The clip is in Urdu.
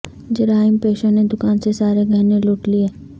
جرائم پیشوں نے دکان سے سارے گہنے لوٹ لئے